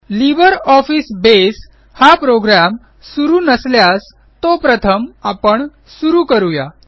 LibreOffice बसे हा program सुरू नसल्यास तो प्रथम आपण सुरू करू या